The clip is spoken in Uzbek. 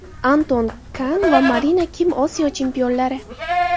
Anton Kan va Marina Kim Osiyo chempionlari.